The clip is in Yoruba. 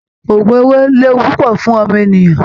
Ògùn owó léwu púpọ̀ fún ọmọnìyàn